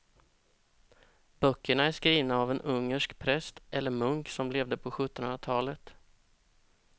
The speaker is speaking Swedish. Böckerna är skrivna av en ungersk präst eller munk som levde på sjuttonhundratalet.